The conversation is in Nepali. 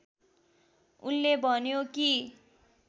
उनले भन्यो कि